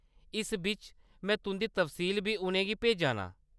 इस बिच्च में तुंʼदी तफसील बी उʼनें गी भेजा नां ।